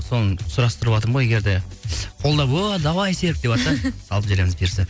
соны сұрастырватырмын ғой егер де қолдап о давай серік деватса салып жібереміз бұйырса